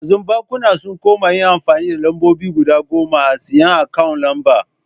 Yanzu bankuna sun koma yin amfani da lambobi guda goma a tsayin akawun lamba.